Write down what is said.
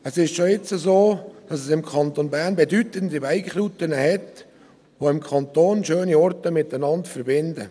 Es ist schon jetzt so, dass es im Kanton Bern bedeutende Bike-Routen gibt, die schöne Orte im Kanton miteinander verbinden.